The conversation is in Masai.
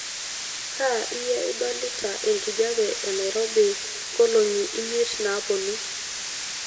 kaa iye idolita enkijape enairobi ngolongi imiet naponu